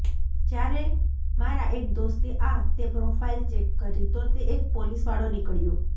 જ્યારે મારા એક દોસ્તે આ તે પ્રોફાઈલ ચેક કરી તો તે એક પોલીસવાળો નીકળ્યો